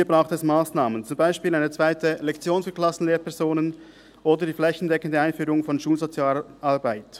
Hier braucht es Massnahmen, beispielsweise eine zweite Lektion für Klassenlehrpersonen oder die flächendeckende Einführung von Schulsozialarbeit.